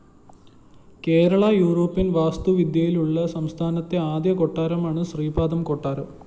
Kerala European‍ വാസ്തു വിദ്യയിലുള്ള സംസ്ഥാനത്തെ ആദ്യകൊട്ടാരമാണു ശ്രീപാദം കൊട്ടാരം